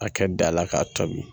A kɛ da la k'a tobi